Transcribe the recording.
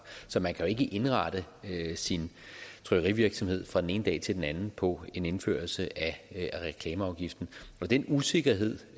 så man kan jo ikke indrette sin trykkerivirksomhed fra den ene dag til den anden på en indførelse af reklameafgiften den usikkerhed